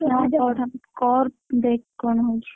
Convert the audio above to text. ନା କରେ କର, ଦେଖେ, କଣ ହଉଛି?